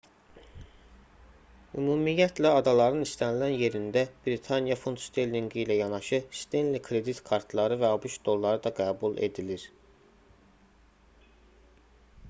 ümumiyyətlə adaların istənilən yerində britaniya funt sterlinqi ilə yanaşı stenli kredit kartları və abş dolları da qəbul edilir